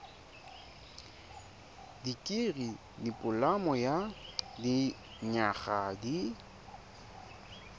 dikirii dipoloma ya dinyaga di